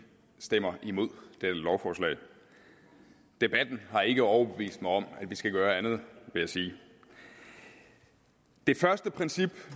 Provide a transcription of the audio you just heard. stemmer imod dette lovforslag debatten har ikke overbevist mig om at vi skal gøre andet vil jeg sige det første princip